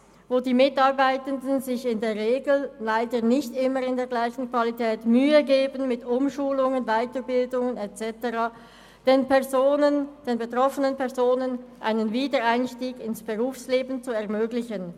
Bei diesen geben sich die Mitarbeitenden in der Regel leider nicht immer mit der gleichen Qualität Mühe – mit Umschulungen, Weiterbildungen und so weiter –, den betroffenen Personen einen Wiedereinstieg ins Berufsleben zu ermöglichen.